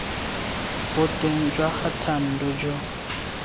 boteng jwa ga thando jo